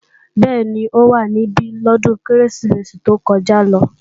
Bẹ́ẹ̀ni, ó wá níbí lọ́dún Kérésìmesì tó kọjá lọ